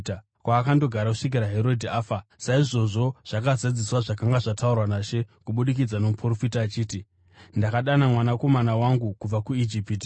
kwaakandogara kusvikira Herodhi afa. Saizvozvo zvakazadziswa zvakanga zvataurwa naShe kubudikidza nomuprofita achiti, “Ndakadana mwanakomana wangu kubva kuIjipiti.”